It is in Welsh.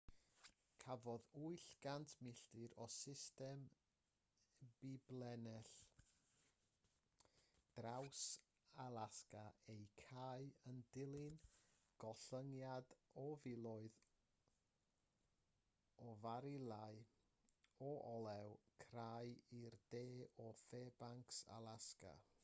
cafodd 800 milltir o system biblinell draws-alasga eu cau yn dilyn gollyngiad o filoedd o farilau o olew crai i'r de o fairbanks alasga